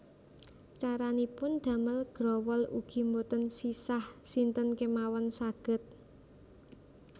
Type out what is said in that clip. Caranipun damel growol ugi boten sisah sinten kémawon saged